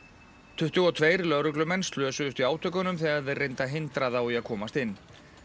tuttugu og tveir lögreglumenn slösuðust í átökunum þegar þeir reyndu að hindra þá í að komast inn